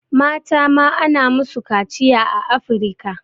Mata ma ana musu kaciya a Afirika.